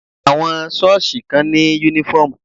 Àwọn sọ́ọ̀sì kan ní uniform.